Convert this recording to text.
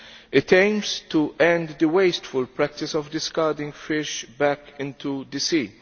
It aims to end the wasteful practice of discarding fish back into the sea.